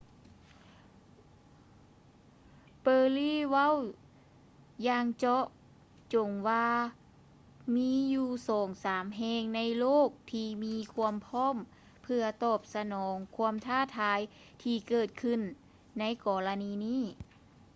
perry ເວົ້າຢ່າງເຈາະຈົງວ່າ ມີຢູ່ສອງສາມແຫ່ງໃນໂລກທີ່ມີຄວາມພ້ອມເພື່ອຕອບສະໜອງຄວາມທ້າທາຍທີ່ເກີດຂື້ນໃນກໍລະນີນີ້